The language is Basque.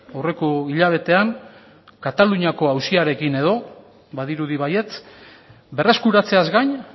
aurreko hilabetean kataluniako auziarekin edo badirudi baietz berreskuratzeaz gain